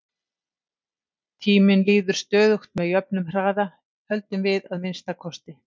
Tíminn líður stöðugt með jöfnum hraða, höldum við að minnsta kosti.